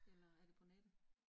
Eller er det på nettet?